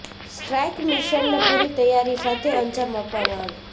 strike મિશનને પૂરી તૈયારી સાથે અંજામ આપવામાં આવ્યો